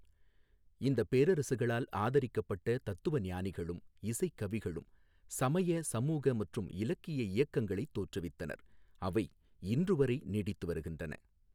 இந்தப் பேரரசுகளால் ஆதரிக்கப்பட்ட தத்துவஞானிகளும் இசைக்கவிகளும் சமய, சமூக மற்றும் இலக்கிய இயக்கங்களைத் தோற்றுவித்தனர், அவை இன்றுவரை நீடித்துவருகின்றன.